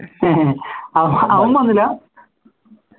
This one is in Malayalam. അവൻ വന്നില്ല